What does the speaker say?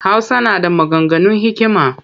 Hausa na da maganganun hikima